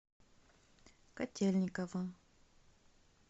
котельниково